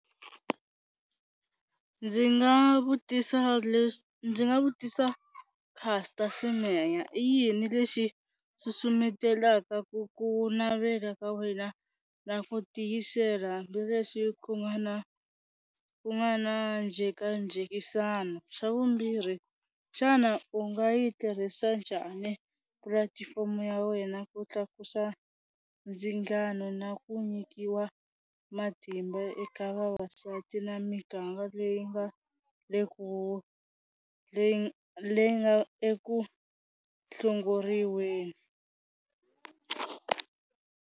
Ndzi nga vutisa ndzi nga vutisa Caster Semenya i yini lexi susumetelaka ku ku navela ka wena na ku tiyisela hambileswi ku nga na ku nga na njhekanjhekisano, xa vumbirhi xana u nga yi tirhisa njhani pulatifomo ya wena ku tlakusa ndzingano na ku nyikiwa matimba eka vavasati na miganga leyi nga le leyi leyi nga eku hlongoriweni.